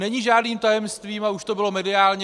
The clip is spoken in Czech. Není žádným tajemstvím, a už to bylo mediálně...